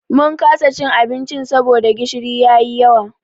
Mun kasa cin abincin saboda gishiri ya yi yawa.